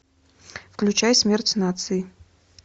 включай смерть нации